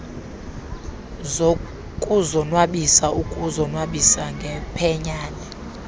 zokuzonwabisa ukuzonwabisa ngephenyane